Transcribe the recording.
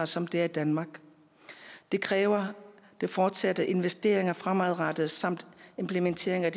som det er i danmark det kræver fortsatte investeringer fremadrettet samt implementering af